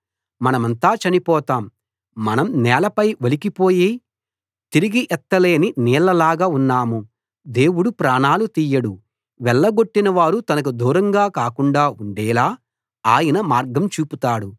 మనమంతా చనిపోతాం మనం నేలపై ఒలికిపోయి తిరిగి ఎత్తలేని నీళ్లలాగా ఉన్నాం దేవుడు ప్రాణాలు తీయడు వెళ్ళగొట్టిన వారు తనకు దూరంగా కాకుండా ఉండేలా ఆయన మార్గం చూపుతాడు